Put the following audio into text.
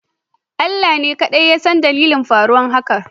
Allah ne kadai yasan dalilin faruwar hakan